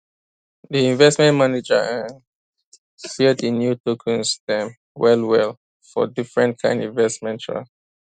di investment manager um share di new tokens dem wellwell for different kind investment um